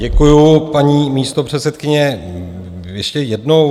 Děkuju, paní místopředsedkyně, ještě jednou.